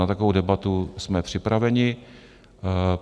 Na takovou debatu jsme připraveni.